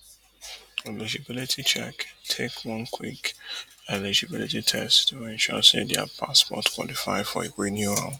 eligibility check take one quick eligibility test to ensure say dia passport qualify for renewal